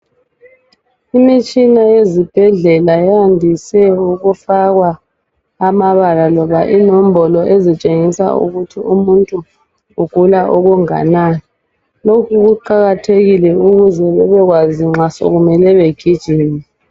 Imitshina yezibhedlela eyandise ukufakwa amabala loba inombolo ezitshengisa ukuthi omuntu ugula okunganani. Lokhu kuqakathekile ukuze bebekwazi nxa sekumele begijime.